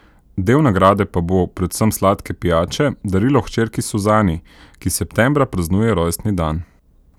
Del nagrade pa bo, predvsem sladke pijače, darilo hčerki Suzani, ki septembra praznuje rojstni dan.